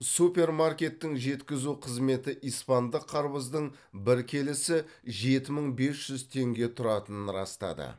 супермаркеттің жеткізу қызметі испандық қарбыздың бір келісі жеті мың бес жүз теңге тұратынын растады